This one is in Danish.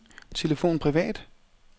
telefon privat